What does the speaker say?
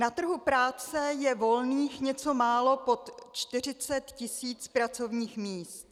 Na trhu práce je volných něco málo pod 40 tisíc pracovních míst.